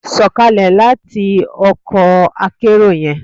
Sọkalẹ lati ọkọ akerò yẹn!